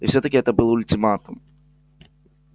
и всё-таки это был ультиматум